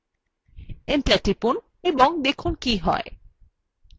enter টিপুন এবং দেখুন কী হয়